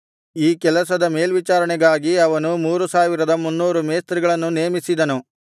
ಈ ಕೆಲಸದವರ ಮೇಲ್ವಿಚಾರಣೆಗಾಗಿ ಅವನು ಮೂರು ಸಾವಿರದ ಮುನ್ನೂರು ಮೇಸ್ತ್ರಿಗಳನ್ನು ನೇಮಿಸಿದನು